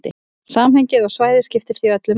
Samhengið og svæðið skiptir því öllu máli.